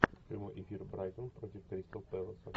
прямой эфир брайтон против кристал пэласа